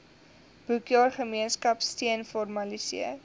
boekjaar gemeenskapsteun formaliseer